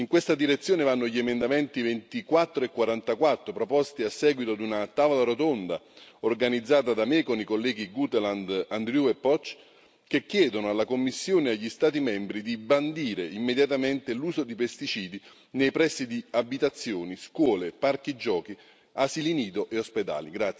In questa direzione vanno gli emendamenti 24 e 44 proposti a seguito di una tavola rotonda organizzata da me con i colleghi Guteland, Andrieu e Poc, che chiedono alla Commissione e agli Stati membri di bandire immediatamente l'uso di pesticidi nei pressi di abitazioni, scuole, parchi giochi, asili nido e ospedali.